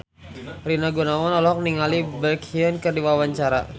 Rina Gunawan olohok ningali Baekhyun keur diwawancara